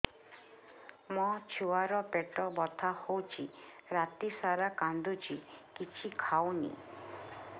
ମୋ ଛୁଆ ର ପେଟ ବଥା ହଉଚି ରାତିସାରା କାନ୍ଦୁଚି କିଛି ଖାଉନି